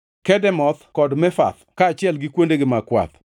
Kedemoth kod Mefath kaachiel gi kuondegi mag kwath;